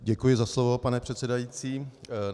Děkuji za slovo, pane předsedající.